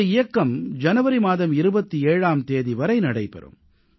இந்த இயக்கம் ஜனவரி மாதம் 27ஆம் தேதி வரை நடைபெறும்